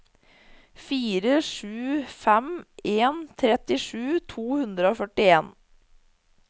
fire sju fem en trettisju to hundre og førtien